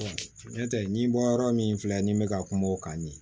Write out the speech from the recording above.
n'o tɛ nin bɔ yɔrɔ min filɛ nin bɛ ka kuma o kan nin